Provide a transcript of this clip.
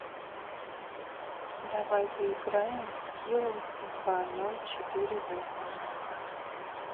давай поиграем в скилл два ноль четыре восемь